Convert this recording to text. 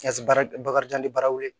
Ka se baara bakarijan ni baaraw wele